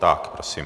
Tak prosím.